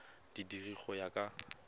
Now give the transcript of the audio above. di dira go ya ka